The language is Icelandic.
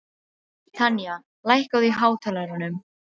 Tanya, lækkaðu í hátalaranum.